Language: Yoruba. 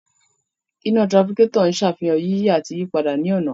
Iná tirafikétọ̀ ń sàfihàn yíyí àti ìyípadà ní ọ̀nà